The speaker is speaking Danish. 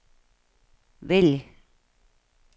vælg